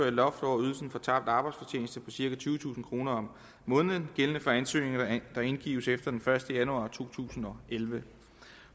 et loft over ydelsen for tabt arbejdsfortjeneste på cirka tyvetusind kroner om måneden gældende for ansøgninger der indgives efter den første januar to tusind og elleve